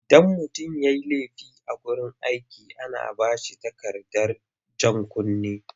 Idan mutum ya yi laifi a wurin aiki ana ba shi takardar jan kunne,